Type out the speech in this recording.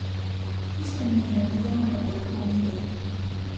Pulz se mi je nemudoma nekoliko umiril.